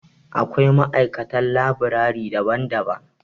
Akwai ma'aikatan labirari daban-daban.